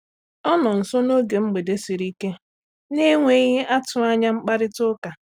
Ọ nọ nso n’oge mgbede siri ike n’enweghị atụ anya mkparịta ụka.